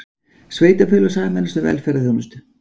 Sveitarfélög sameinast um velferðarþjónustu